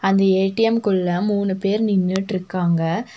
இந்த ஏ_டி_எம்குள்ள மூணு பேர் நின்னுட்ருக்காங்க.